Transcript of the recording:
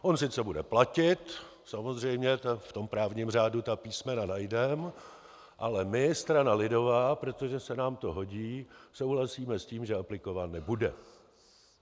On sice bude platit, samozřejmě, v tom právním řádu ta písmena najdeme, ale my, strana lidová, protože se nám to hodí, souhlasíme s tím, že aplikován nebude.